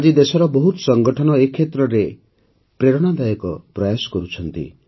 ଆଜି ଦେଶରେ ବହୁତ ସଂଗଠନ ଏ କ୍ଷେତ୍ରରେ ପ୍ରେରଣାଦାୟକ ପ୍ରୟାସ କରୁଛନ୍ତି